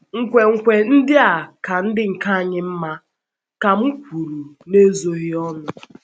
“ Nkwenkwe ndị a ka ndị nke anyị mma, ” ka m kwuru n’ezoghị ọnụ.